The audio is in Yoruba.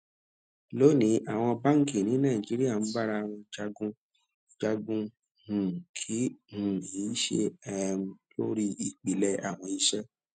loni àwọn báńkì ní nàìjíríà ń bára wọn jagun jagun um kì um í ṣe um lórí ìpìlẹ àwọn iṣẹ